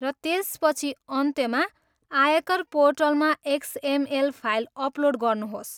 र त्यसपछि अन्त्यमा आयकर पोर्टलमा एक्सएमएल फाइल अपलोड गर्नुहोस्।